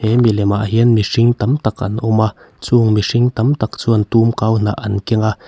he mi lemah hian mihring tam tak an awm a chung mihring tam tak chuan tumkau hnah an keng a.